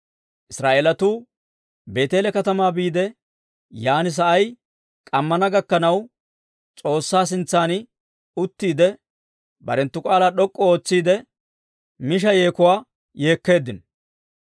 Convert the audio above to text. Israa'eelatuu Beeteele katamaa biide, yaan sa'ay k'ammana gakkanaw S'oossaa sintsan uttiide, barenttu k'aalaa d'ok'k'u ootsiide, seela yeekuwaa yeekkeeddino.